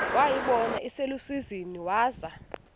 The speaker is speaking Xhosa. wayibona iselusizini waza